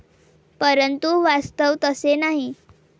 परंतु वास्तव तसे नाही.